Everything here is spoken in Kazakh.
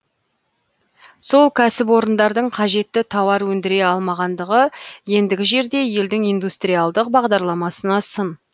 сол кәсіпорындардың қажетті тауар өндіре алмағандығы ендігі жерде елдің индустриалдық бағдарламасына сын